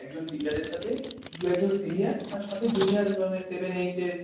একজন টিচার এর সাথে দু একজন senior আর সাথে জুনিয়র মানে seven eight এর,